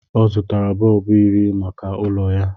ọ zụtara bọlbụ iri maka ụlọ ya